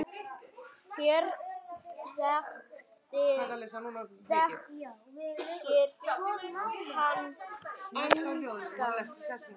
Hér þekkir hann engan.